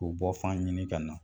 K'u bɔfan ɲini ka na.